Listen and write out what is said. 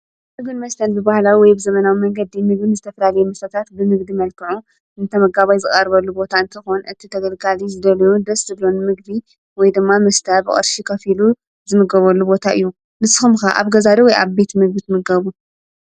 ብግን መስለንት ብበህላዊ ወይ ብዘመናዊ መንገዲ ሚግን ዝተፍራሌየ ምተታት ብምግዲ መልከዑ እንተመጋባይ ዝቓርበሉ ቦታ እንቲ ኾን እቲ ተገልጋሊ ዝደልዩ ደስ ብሎን ምግቢ ወይ ድማ ምስታ ብቐርሽ ከፊሉ ዝምገበሉ ቦታ እዩ። ንስኸምከ ኣብ ገዛዶ ወይ ኣቤት ምግት ምገቡ?